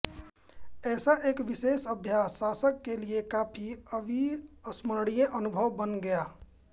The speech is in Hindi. ऐसा एक विशेष अभ्यास शासक के लिए काफी अविस्मरणीय अनुभव बन गया